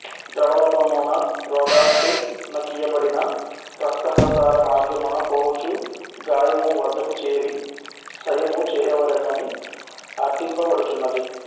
ద్రవరూపమున రోగార్తునకీయబడి రక్తప్రసారమార్గమున పోవుచు గాయము వద్దకు జేరి సయము చేయవలెనని అర్ధింపబడుచున్నది